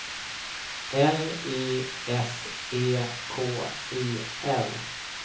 L Y S E K I L